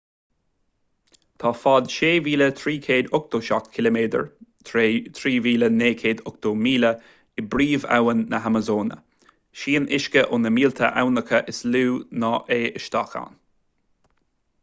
tá fad 6,387 km 3,980 míle i bpríomhabhainn na hamasóine. sníonn uisce ó na mílte aibhneacha is lú ná é isteach ann